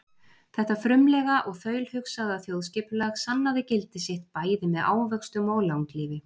Þetta frumlega og þaulhugsaða þjóðskipulag sannaði gildi sitt bæði með ávöxtum og langlífi.